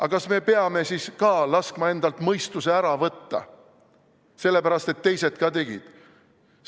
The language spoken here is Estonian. Aga kas me peame laskma endalt mõistuse ära võtta, sellepärast et teised ka tegid?